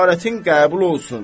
"Ziyarətin qəbul olsun!"